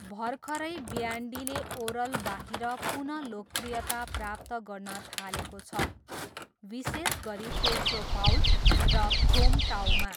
भर्खरै ब्यान्डीले ओरलबाहिर पुन लोकप्रियता प्राप्त गर्न थालेको छ, विशेष गरी पेट्रोपाउल र ख्रोमटाऊमा।